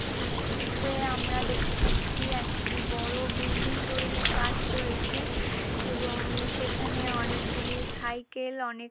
দৃশ্যটিতে আমরা দেখতে পাচ্ছি একটি বড় বিল্ডিং তৈরির কাজ চলছে এবং সেখানে অনেকগুলি সাইকেল অনেক--